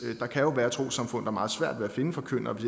der kan være trossamfund der har meget svært ved at finde forkyndere hvis